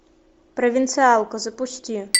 провинциалка запусти